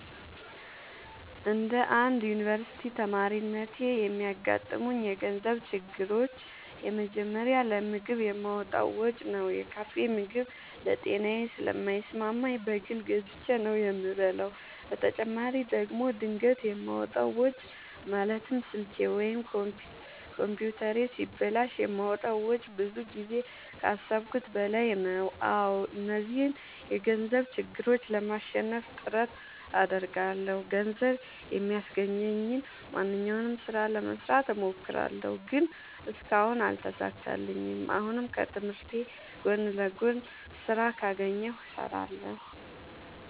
እንደ አንድ ዮኒቨርስቲ ተማሪነቴ የሚያጋጥሙኝ የገንዘብ ችግሮች የመጀመሪያው ለምግብ የማወጣው ወጪ ነው። የካፌ ምግብ ለጤናዬ ስለማይስማማኝ በግል ገዝቼ ነው የምበላው በተጨማሪ ደግሞ ድንገት የማወጣው ወጪ ማለትም ስልኬ ወይም ኮምፒውተሬ ሲበላሽ የማወጣው ወጪ ብዙ ጊዜ ከአሠብኩት በላይ ነው። አዎ እነዚህን የገንዘብ ችግሮች ለማሸነፍ ጥረት አደርጋለሁ። ገንዘብ የሚያስገኘኝን ማንኛውንም ስራ ለመስራት እሞክራለሁ። ግን እስካሁን አልተሳካልኝም። አሁንም ከትምህርቴ ጎን ለጎን ስራ ካገኘሁ እሠራለሁ።